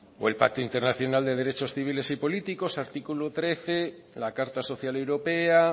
o el pacto internacional de derechos civiles y políticos artículo trece la carta social europea